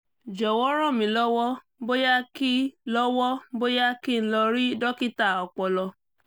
jọ̀wọ́ ràn mí lọ́wọ́ bóyá kí lọ́wọ́ bóyá kí n lọ rí dókítà ọpọlọ